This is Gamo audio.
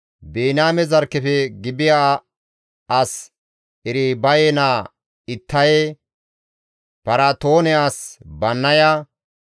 Biniyaame zarkkefe Gibi7a as Eribaye naa Ittaye, Piraatoone as Bannaya,